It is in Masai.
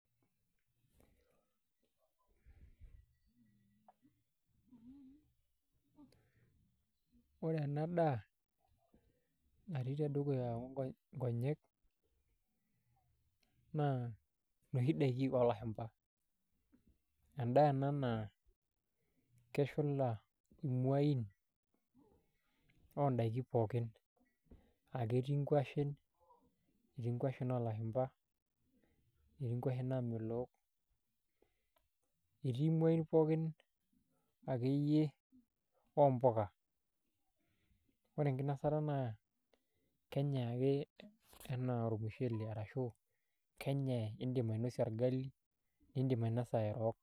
Ore ena daa natii tedukuya nkonyek naa inoshi daiki oolashumba endaa ena naa keshula imuain oondaiki pookin aa ketii nkuashen oolashumba etii nkuashen naamelook etii muain pookin akeyie oompuka ore enkinasata naa kenyai ake ena ormushele arashu kenyai , iindim ainosie orgali iindim ainasa erook.